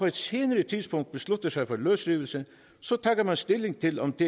et senere tidspunkt beslutter sig for løsrivelse tager man stilling til om det